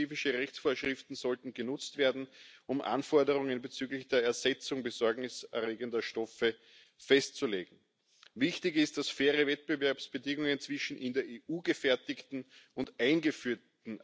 agreed provisions of the revised Waste Framework Directive that complement existing REACH obligations for suppliers to inform their customers when articles contain substances of very high concern.